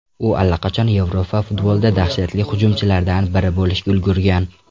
U allaqachon Yevropa futbolida dahshatli hujumchilardan biri bo‘lishga ulgurgan.